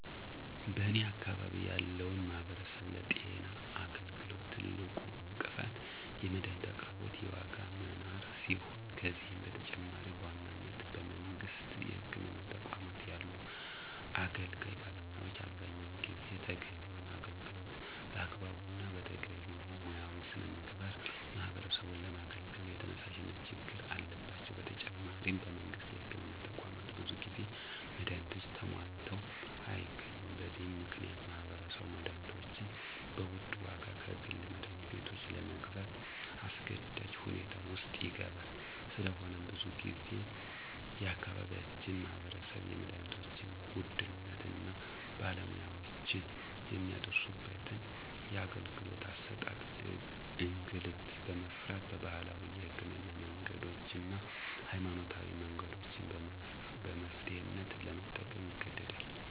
በኔ አካባቢ ያለው ማህበረሰብ ለጤና አገልግሎት ትልቁ እንቅፋት የመድሀኒት አቅርቦት የዋጋ መናር ሲሆን ከዚህም በተጨማሪ በዋናነት በመንግስት የህክምና ተቋማት ያሉ አገልጋይ ባለሙያዎች አብዛኛውን ጊዜ ተገቢውን አገልግሎት በአግባቡ እና በተገቢው ሙያዊ ሥነ ምግባር ማህበረሰቡን ለማገልገል የተነሳሽነት ችግር አለባቸው። በተጨማሪም በመንግስት የህክምና ተቋማት ብዙ ጊዜ መድሀኒቶች ተሟልተው አይገኙም። በዚህ ምክንያት ማህበረሰቡ መድሀኒቶችን በውድ ዋጋ ከግል መድሀኒት ቤቶች ለግዛት አስገዳጅ ሁኔታ ውስጥ ይገባል። ስለሆነም ብዙ ጊዜ የአካባቢያችን ማህበረሰብ የመድሀኒቶችን ውድነት እና በባለሙያወችን የሚደርስበትን የአገልግሎት አሠጣጥ እንግልት በመፍራት ባህላዊ የህክምና መንገዶችን እና ሀይማኖታዊ መንገዶችን በመፍትሔነት ለመጠቀም ይገደዳል።